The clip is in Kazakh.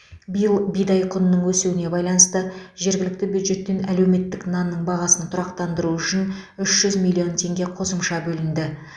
биыл бидай құнының өсуіне байланысты жергілікті бюджеттен әлеуметтік нанның бағасын тұрақтандыру үшін үш жүз миллион теңге қосымша бөлінді